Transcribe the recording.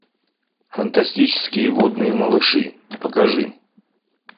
фантастические водные малыши покажи